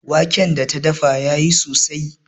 Wanken da ta dafa ya yi sosai.